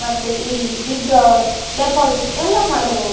ಮತ್ತೆ ಇಲ್ಲಿ withdrawal deposit ಎಲ್ಲಾ ಮಾಡಬಹುದು.